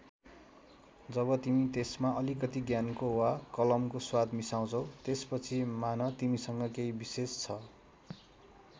जब तिमी त्यसमा अलिकति ज्ञानको वा कलमको स्वाद मिसाउँछौ त्यसपछि मान तिमीसँग केही विशेष छ।